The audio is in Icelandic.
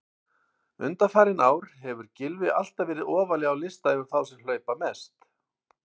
Undanfarin ár hefur Gylfi alltaf verið ofarlega á lista yfir þá sem hlaupa mest.